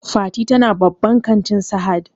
Fati ta na babban kantin Sahad